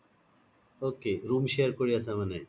ok room share কৰি আছা মানে